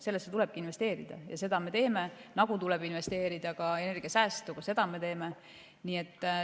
Sellesse tuleb investeerida ja seda me teemegi, samamoodi tuleb investeerida energiasäästu ja ka seda me teeme.